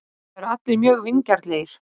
Það eru allir mjög vingjarnlegir.